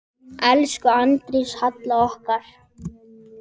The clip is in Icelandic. Elsku Arndís Halla okkar.